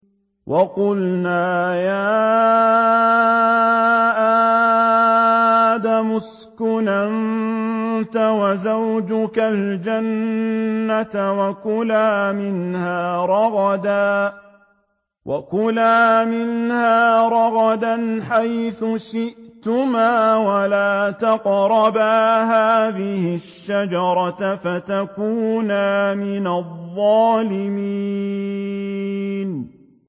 وَقُلْنَا يَا آدَمُ اسْكُنْ أَنتَ وَزَوْجُكَ الْجَنَّةَ وَكُلَا مِنْهَا رَغَدًا حَيْثُ شِئْتُمَا وَلَا تَقْرَبَا هَٰذِهِ الشَّجَرَةَ فَتَكُونَا مِنَ الظَّالِمِينَ